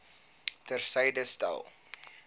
ter syde stel